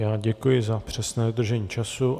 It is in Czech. Já děkuji za přesné dodržení času.